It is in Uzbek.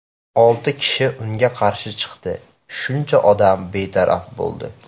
Olti kishi unga qarshi chiqdi, shuncha odam betaraf bo‘ldi.